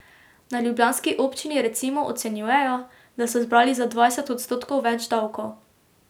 Na ljubljanski občini recimo ocenjujejo, da so zbrali za dvajset odstotkov več davkov.